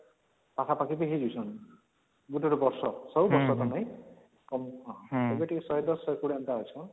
ପାଖାପାଖି ବି ହେଇଯାଉଛନ ଗୋଟେ ଗୋଟେ ବର୍ଷ ସବୁ ବର୍ଷ ତ ନାଇଁ ଏବେ ଟିକେ ୧୧୦ ୧୨୦ ଏନ୍ତା ଅଚାନ